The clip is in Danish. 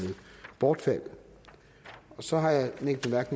bortfaldet så har jeg en enkelt